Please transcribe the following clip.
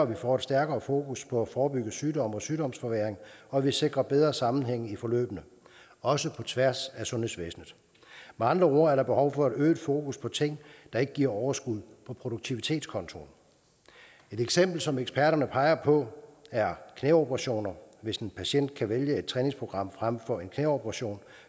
vi får et stærkere fokus på at forebygge sygdom og sygdomsforværring og at vi sikrer bedre sammenhæng i forløbene også på tværs af sundhedsvæsenet med andre ord er der behov for et øget fokus på ting der ikke giver overskud på produktivitetskontoen et eksempel som eksperterne peger på er knæoperationer hvis en patient kan vælge et træningsprogram frem for en knæoperation